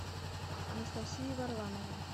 анастасией варламовой